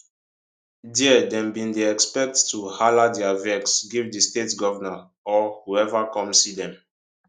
dia dem bin dey expect to hala dia vex give di state govnor or whoever come see dem